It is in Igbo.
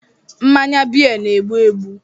Mmanya beer na-egbu egbu